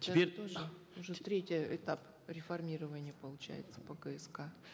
теперь уже третий этап реформирования получается по кск